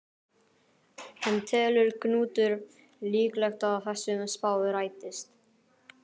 En telur Knútur líklegt að þessi spá rætist?